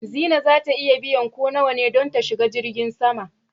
Zinai za ta iya biyan ko nawa ne don ta shiga jirgin sama.